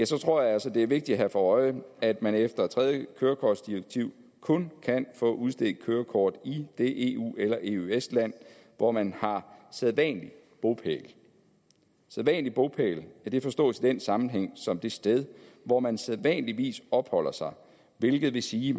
tror jeg altså at det er vigtigt at have for øje at man efter tredje kørekortdirektiv kun kan få udstedt kørekort i det eueøs land hvor man har sædvanlig bopæl sædvanlig bopæl forstås i den sammenhæng som det sted hvor man sædvanligvis opholder sig hvilket vil sige